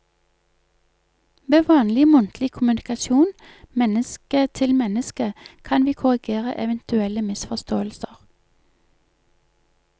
Ved vanlig muntlig kommunikasjon menneske til menneske kan vi korrigere eventuelle misforståelser.